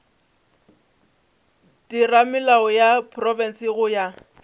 theramelao ya profense go ya